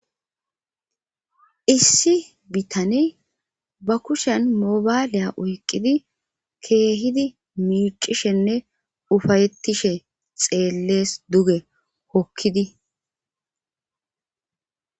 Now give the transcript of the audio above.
Issi bitane ba kushen mobaaliya oyqqidi keehidi miicishenne ufayettishe xeellees duge hokkidi